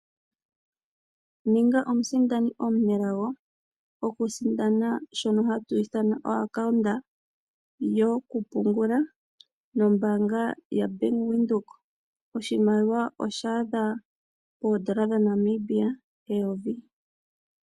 Ninga omusindani omunelago oku sindana shona hatu ithana o-account yoku pungula nombanga yaBank Windhoek. Oshimaliwa osha adha poodollar dhaNamibia eyovi.